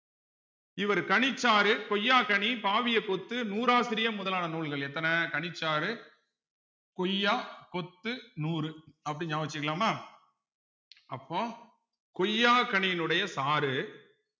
இவர் கனிச்சாறு கொய்யாக்கனி பாவியக் கொத்து நூறாசிரியம் முதலான நூல்கள் எத்தன கணிச்சாறு கொய்யா கொத்து நூறு அப்படின்னு நியாபகம் வச்சுக்கலாமா அப்போ கொய்யாக்கனியினுடைய சாறு